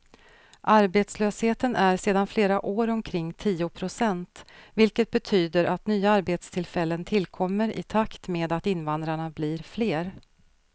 Arbetslösheten är sedan flera år omkring tio procent, vilket betyder att nya arbetstillfällen tillkommer i takt med att invandrarna blir fler.